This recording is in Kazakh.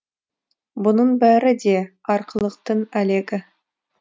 бұның бәрі де арқылықтың әлегі